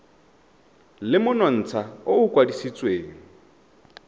le monontsha o o kwadisitsweng